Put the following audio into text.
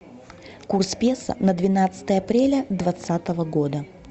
курс песо на двенадцатое апреля двадцатого года